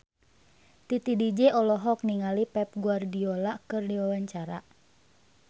Titi DJ olohok ningali Pep Guardiola keur diwawancara